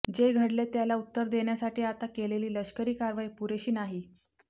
जे घडले त्याला उत्तर देण्यासाठी आता केलेली लष्करी कारवाई पुरेशी नाही